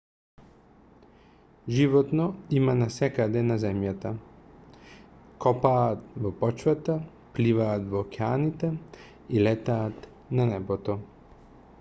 животно има насекаде на земјата копаат во почвата пливаат во океаните и летаат на небото